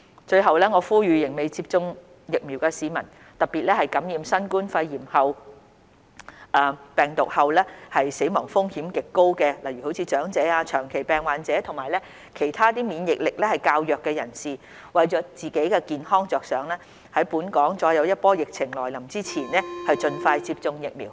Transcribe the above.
最後，我呼籲仍未接種疫苗的市民，特別是感染新冠病毒後死亡風險極高的長者、長期病患者及其他免疫力較弱人士，為自己健康着想在本港再有一波疫情來臨前盡快接種疫苗。